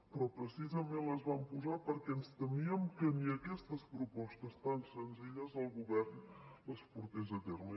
però precisament les vam posar perquè ens temíem que ni aquestes propostes tan senzilles el govern les portés a terme